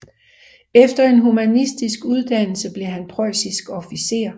Efter en humanistisk uddannelse blev han preussisk officer